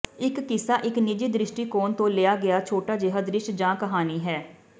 ਇਕ ਕਿੱਸਾ ਇਕ ਨਿੱਜੀ ਦ੍ਰਿਸ਼ਟੀਕੋਣ ਤੋਂ ਲਿਆ ਗਿਆ ਛੋਟਾ ਜਿਹਾ ਦ੍ਰਿਸ਼ ਜਾਂ ਕਹਾਣੀ ਹੈ